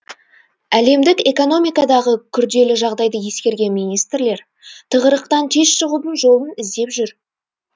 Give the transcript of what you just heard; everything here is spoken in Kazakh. әлемдік экономикадағы күрделі жағдайды ескерген министрлер тығырықтан тез шығудың жолын іздеп жүр